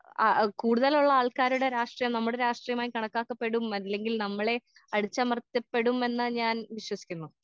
ആ ആ കൂടുതലുള്ള ആൾക്കാരുടെ രാഷ്ട്രീയവും നമ്മടെ രാഷ്ട്രീയവുമായി കണക്കാക്കപ്പെടും അല്ലെങ്കിൽ നമ്മളെ അടിച്ചമർത്തപ്പെടും എന്നാ ഞാൻ വിശ്വസിക്കുന്നു.